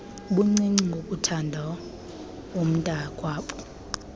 buncinci ngokuthanda umntaakwabo